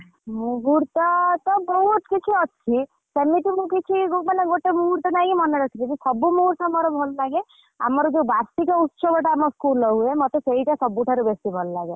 ମୁହୂର୍ତ୍ତ ତ ବହୁତ କିଛି ଅଛି ସେମିତି ମୁ କିଛି ମାନେ ଗୋଟେ ମୁହୂର୍ତ୍ତ ନାହିଁ କି ମାନେରଖିବି ସବୁ ମୁହୂର୍ତ୍ତ ମୋର ଭଲ ଲାଗେ ଆମର ଯୋଉ ବାର୍ଷିକ ଉତ୍ସବ ଟା ଆମ school ରେ ହୁଏ ମତେ ସେଇଟା ସବୁଠାରୁ ବେଶୀ ଭଲ ଲାଗେ।